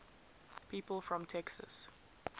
people from texas